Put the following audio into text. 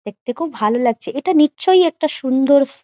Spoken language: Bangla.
দেখতে খুব ভালো লাগচ্ছে। এটা নিশ্চই একটা সুন্দরস --